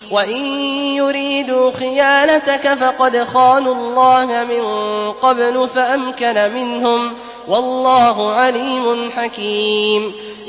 وَإِن يُرِيدُوا خِيَانَتَكَ فَقَدْ خَانُوا اللَّهَ مِن قَبْلُ فَأَمْكَنَ مِنْهُمْ ۗ وَاللَّهُ عَلِيمٌ حَكِيمٌ